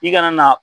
I kana na